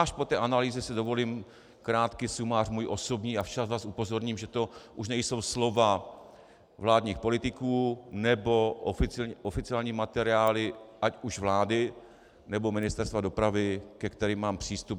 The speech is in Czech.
Až po té analýze si dovolím krátký sumář svůj osobní a včas vás upozorním, že to už nejsou slova vládních politiků nebo oficiální materiály ať už vlády, nebo Ministerstva dopravy, ke kterým mám přístup.